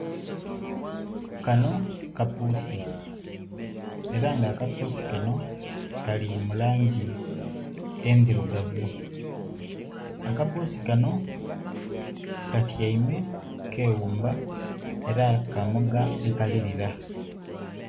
kano kapuusi ela nga akapuusi kano kali mu langi endhilugavu akapuusi kano katyaime keghumba ela kamoga nkalilila.